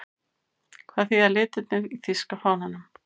Hvað þýða litirnir í þýska fánanum?